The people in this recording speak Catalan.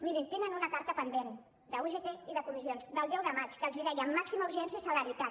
mirin tenen una carta pendent d’ugt i de comissions del deu de maig que els deia màxima urgència i celeritat